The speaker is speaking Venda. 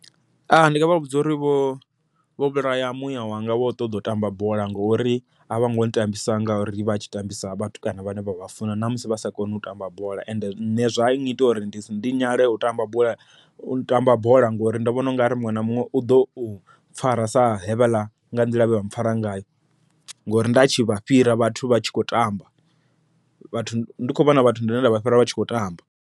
ndi nga vha vhudza uri vho vho vhulaya muyawanga wo ṱoḓa u tamba bola, ngori a vhongo tambisa ngauri vha tshi tambisa vhatukana vhane vha vha funa ṋamusi vha sa koni u tamba bola. Ende nṋe zwa ngita uri ndi ndi nyale u tamba bola, u tamba bola ngori ndo vhona ungari muṅwe na muṅwe uḓo pfara sa hevhaḽa nga nḓila yevha mpfara ngayo. Ngori ndatshi vha fhira vhathu vha tshi kho tamba vhathu, ndi kho vhona vhathu vhane nda vha fhira vha tshi khou tamba.